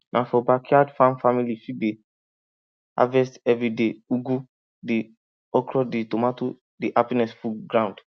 na for backyard farm family fit dey harvest evriday ugu dey okro dey tomato dey happiness full ground